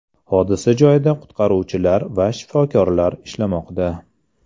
Hodisa joyida qutqaruvchilar va shifokorlar ishlamoqda.